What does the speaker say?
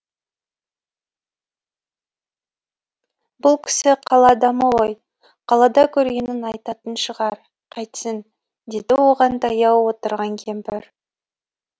бұл кісі қала адамы ғой қалада көргенін айтатын шығар қайтсін деді оған таяу отырған кемпір